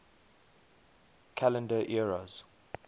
calendar eras